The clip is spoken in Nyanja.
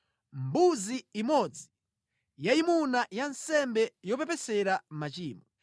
mbuzi imodzi yayimuna ya nsembe yopepesera machimo;